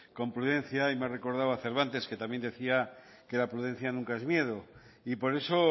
con prudencia y me ha recordado a cervantes que también decía que la prudencia nunca es miedo y por eso